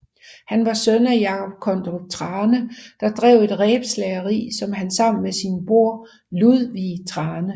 Han var søn af Jacob Kondrup Thrane der drev et rebslageri som han sammen med sin bror Ludvig Thrane